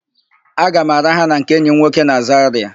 Aga m araha na nke enyi m nwoke na Zarịa.